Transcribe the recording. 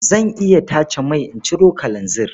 Zan iya tace mai in ciro kalanzir.